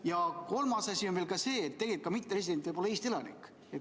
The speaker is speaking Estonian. Ja kolmas asi on veel see, et tegelikult võib mitteresident olla ka Eesti elanik.